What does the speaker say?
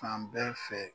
Fan bɛɛ fɛ